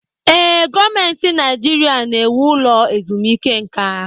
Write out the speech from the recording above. Ee, gọọmentị Naijiria ga-ewu ụlọ ezumike nka.